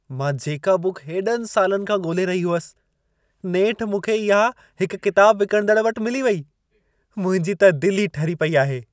मां जेका बुक हेॾनि सालनि खां ॻोल्हे रही हुअसि, नेठ मूंखे इहा हिक किताब विकणंदड़ वटि मिली वई। मुंहिंजी त दिल ई ठरी पई आहे।